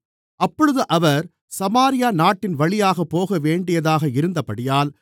அப்பொழுது அவர் சமாரியா நாட்டின்வழியாகப் போகவேண்டியதாக இருந்தபடியால்